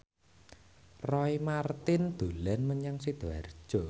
Roy Marten dolan menyang Sidoarjo